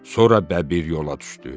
Sonra bəbir yola düşdü.